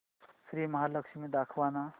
श्री महालक्ष्मी दाखव ना